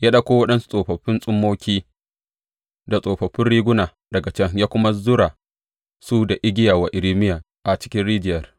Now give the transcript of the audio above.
Ya ɗauko waɗansu tsofaffin tsummoki da tsofaffi riguna daga can ya kuma zurara su da igiya wa Irmiya a cikin rijiyar.